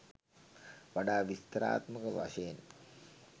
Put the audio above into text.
වඩා විස්තරාත්මක වශයෙන්